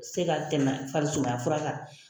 Se ka tɛmɛ farisumaya fura kan